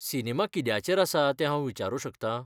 Cinema कित्याचेर आसा तें हांव विचारूं शकता?